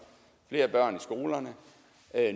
flere børn i skolerne